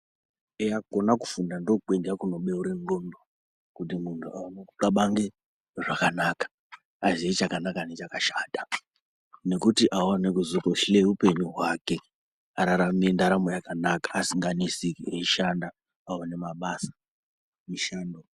Eya kona kufunda ndiko kwega kuno beure ndxondo kuti muntu aone kukabange zvakanaka aziye chakanaka ne chakashata nekuti aone kuzoto hloye uoenyu hwake ararame ndaramo yakanaka asinga neseki eyishanda aone mabasa mishando.